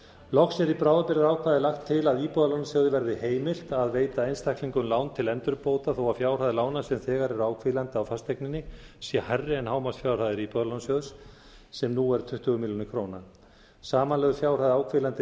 loks er í bráðabirgðaákvæði lagt til að íbúðalánasjóð verði heimilt að veita einstaklingum lán til endurbóta þó að fjárhæð lána sem þegar eru áhvílandi á fasteigninni sé hærri en hámarksfjárhæðir íbúðalánasjóð sem nú er tuttugu milljónir króna samanlögð fjárhæð áhvílandi